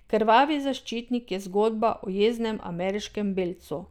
Krvavi zaščitnik je zgodba o jeznem ameriškem belcu.